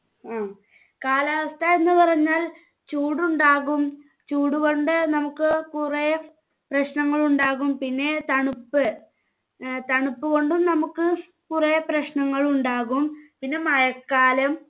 മ്മ് കാലാവസ്ഥ എന്ന് പറഞ്ഞാൽ ചൂടുണ്ടാകും ചൂടുകൊണ്ട് നമ്മുക്ക് കുറെ പ്രശ്നങ്ങളുണ്ടാക്കും പിന്നെ തണുപ്പ് ഏർ തണുപ്പ് കൊണ്ടും നമ്മുക്ക് കുറെ പ്രശ്നങ്ങളുണ്ടാക്കും പിന്നെ മഴക്കാലം